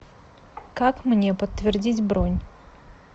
как мне подтвердить бронь